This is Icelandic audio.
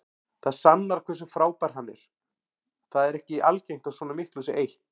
Það sannar hversu frábær hann er, það er ekki algengt að svona miklu sé eytt.